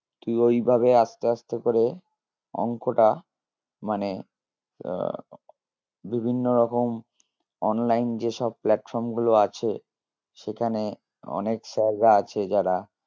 তুই ঐভাবে আসতে আসতে করে অঙ্কটা মানে আহ বিভিন্ন রকম online যে সব platform গুলো আছে সেখানে অনেক sir রা আছে যারা